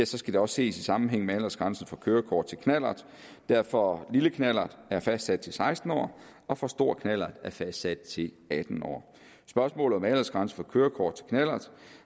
så skal det også ses i sammenhæng med aldersgrænsen for kørekort til knallert der for lille knallert er fastsat til seksten år og for stor knallert er fastsat til atten år spørgsmålet om aldersgrænsen for kørekort til knallert